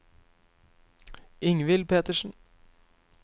Ingvill Petersen